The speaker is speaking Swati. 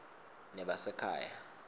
nebasekhaya